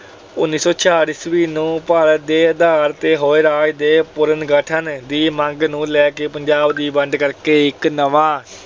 ਉਨੀ ਸੌ ਛਿਆਹਠ ਈਸਵੀ ਨੂੰ ਭਾਸ਼ਾ ਦੇ ਆਧਾਰ ਤੇ ਹੋਏ ਰਾਜ ਦੇ ਪੁਨਰਗਠਨ ਦੀ ਮੰਗ ਨੂੰ ਲੈ ਕੇ ਪੰਜਾਬ ਦੀ ਵੰਡ ਕਰਕੇ ਇਕ ਨਵਾਂ